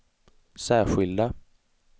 särskilda